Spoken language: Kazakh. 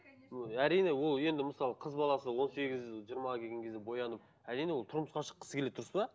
әрине ол енді мысалы қыз баласы он сегіз жиырмаға келген кезде боянып әрине ол тұрмысқа шыққысы келеді дұрыс па